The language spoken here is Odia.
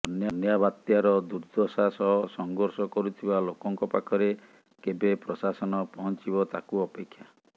ବନ୍ୟା ବାତ୍ୟାର ଦୁର୍ଦ୍ଦଶା ସହ ସଂଘର୍ଷ କରୁଥିବା ଲୋକଙ୍କ ପାଖରେ କେବେ ପ୍ରଶାସନ ପହଞ୍ଚିବ ତାକୁ ଅପେକ୍ଷା